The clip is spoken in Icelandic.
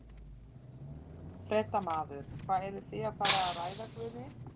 Fréttamaður: Hvað eruð þið að fara að ræða Guðni?